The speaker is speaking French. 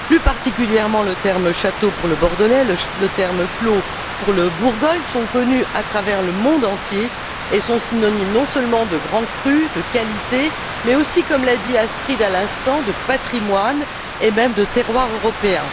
Plus particulièrement, le terme Château, pour le Bordelais, le terme Clos, pour la Bourgogne, sont connus à travers le monde entier et sont synonymes, non seulement de grands crus de qualité mais aussi, comme l'a dit Astrid Lulling à l'instant, de patrimoine et même de terroir européen.